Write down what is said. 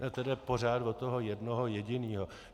To jde pořád od toho jednoho jediného.